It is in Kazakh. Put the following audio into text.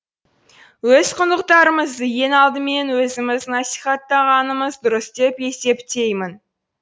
өз құндылықтарымызды ең алдымен өзіміз насихаттағанымыз дұрыс деп есептеймін